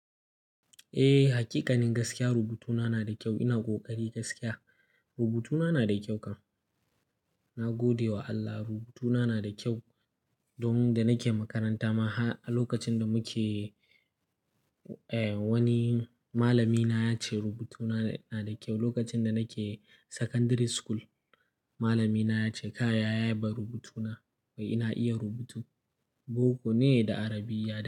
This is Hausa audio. Eh, hakikanin gaskiya rubutuna na da kyau. Ina ƙoƙari gaskiya rubutuna na da kyau kam. Na gode wa Allah rubutuna na da kyau domin da nake makaranta ma har a lokacin da muke, eh wani malamina ya ce rubutuna na da kyau. Lokacin da nake secondary school malamina ya ce "ka yaya ba rubutuna wai ina iya rubutu." Boko ne da Arabiyya da.